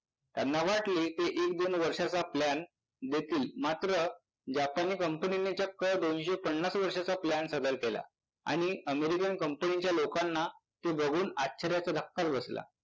त्यांना वाटले कि एक, दोन वर्षाचा plan देतील. मात्र जापानी कंपनीने मात्र दोनशे पन्नास वर्षाचा plan सादर केला आणि अमेरिकन कंपनीच्या लोकांना ते बघून आश्चर्याचा धक्काच बसला.